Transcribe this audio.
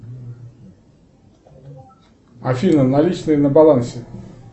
афина наличные на балансе